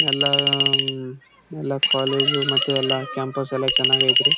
ಎಲ್ಲ ಅಹ್ ಅಹ್ ಎಲ್ಲ ಕಾಲೇಜು ಮತ್ತೆ ಎಲ್ಲ ಕ್ಯಾಂಪಸ್ ಎಲ್ಲಾ ಚೆನಾಗ್ ಐತೆ ರೀ.